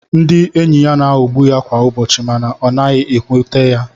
Ndị enyị ya na-aghogbú ya kwá ụbọchị mànà ọ naghị éwúté ya